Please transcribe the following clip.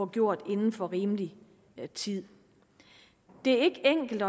gjort inden for rimelig tid det er ikke enkelt